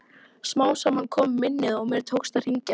Smám saman kom minnið og mér tókst að hringja.